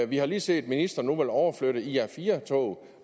vi har lige set at ministeren nu vil overflytte ir4 tog